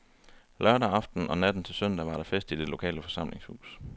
Lørdag aften og natten til søndag var der fest i det lokale forsamlingshus.